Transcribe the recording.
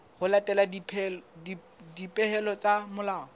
ho latela dipehelo tsa molao